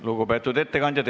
Lugupeetud ettekandja!